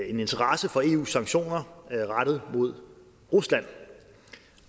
en interesse for eus sanktioner rettet mod rusland